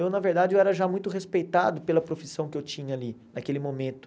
Eu, na verdade, eu era já muito respeitado pela profissão que eu tinha ali, naquele momento.